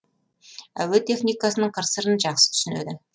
әуе техникасының қыр сырын жақсы түсінеді